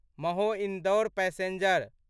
महो Indore passenger